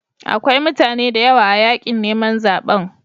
Akwai mutane da yawa a yakin neman zabe.